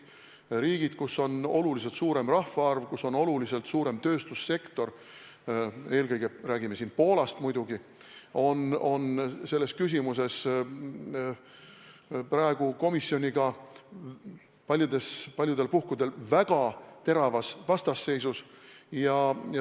Need on riigid, kus on oluliselt suurem rahvaarv, kus on oluliselt suurem tööstussektor – eelkõige on jutt Poolast muidugi –, ja nad on selles küsimuses praegu komisjoniga mitmes mõttes väga teravas vastasseisus.